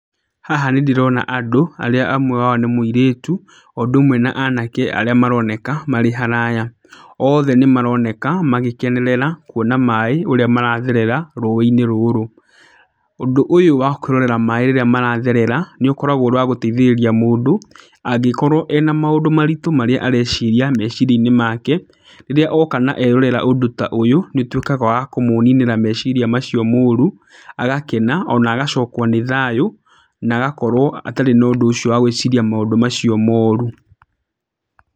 Haha nĩ ndĩrona andũ, arĩa amwe ao nĩ mũirĩtu, o ũndũ ũmwe na anake arĩa maroneka marĩ haraya. Othe nĩ maroneka, magĩkenerera kuona maaĩ ũrĩa maratherera rũĩ-inĩ rũrũ. Ũndũ ũyũ wa kwĩrorera maaĩ rĩrĩa maratherera, nĩ ũkoragwo ũrĩ wa gũteithĩrĩria mũndũ ,angĩkorwo ena maũndũ maritũ marĩa areciria, meciria-inĩ make. Rĩrĩa oka na erorera ũndũ ta ũyũ, nĩ ũtuĩkaga wa kũmũninĩra meciria macio moru, agakena ona agacokwo nĩ thayũ, na agakorwo atarĩ na ũndũ ũcio wa gwĩciria maũndũ macio moru.